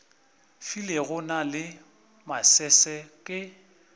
filego na le masese ke